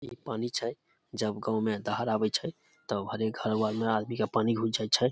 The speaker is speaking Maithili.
इ पानी छै जब गांव मे धार आवे छै तब हर एक घर वा मे पानी घुस जाय छै।